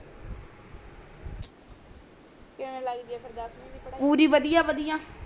ਕਿਵੇਂ ਲਗਦੀ ਆ ਫੇਰ ਦਸਵੀਂ ਦੀ ਪੜਾਈ ਪੁਰੀ ਪੁਰੀ ਬਦਿਆ ਬਦਿਆ